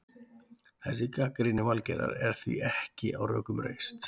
Þessi gagnrýni Valgerðar er því ekki á rökum reist.